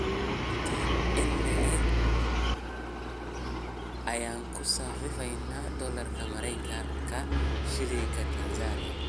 intee in le'eg ayaynu ku sarifaynaa dollarka Maraykanka shilinka Tansaaniya